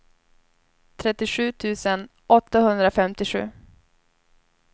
trettiosju tusen åttahundrafemtiosju